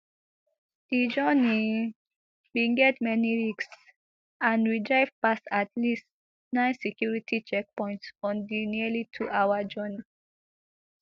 di journey bin get many risks and we drive past at least nine security checkpoints on di nearly twohour journey